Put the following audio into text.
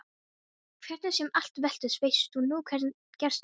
Hvernig sem allt veltist veistu nú hvað gerst hefur.